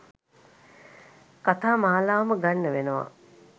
කතා මාලාවම ගන්න වෙනවා.